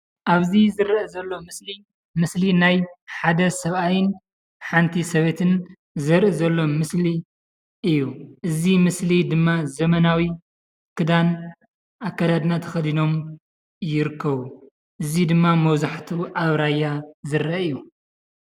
ኣብዚ ዝረአ ዘሎ ምስሊ ምስሊ ናይ ሓደ ሰብኣይን ሓንቲ ሰበይትን ዘርኢ ዘሎ ምስሊ እዩ። እዚ ምስሊ ድማ ዘመናዊ ክዳን አከዳድና ተኸዲኖም ይርከቡ። እዚ ድማ መብዛሕቲኡ ኣብ ራያ ዝርአ እዩ።